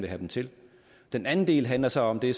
have dem til den anden del handler så om det